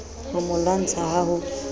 ho mo lwantsha ha ho